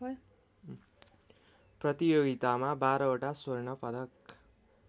प्रतियोगितामा बाह्रवटा स्वर्णपदक